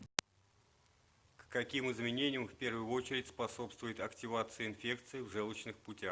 к каким изменениям в первую очередь способствует активация инфекции в желчных путях